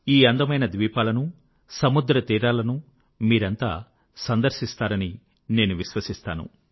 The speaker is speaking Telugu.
ఈ అందమైన ద్వీపాలను సముద్రతీరాలను మీరంతా సందర్శిస్తారని నేను విశ్వసిస్తాను